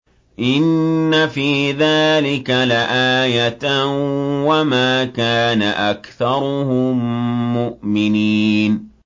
إِنَّ فِي ذَٰلِكَ لَآيَةً ۖ وَمَا كَانَ أَكْثَرُهُم مُّؤْمِنِينَ